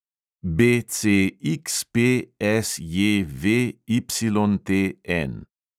BCXPSJVYTN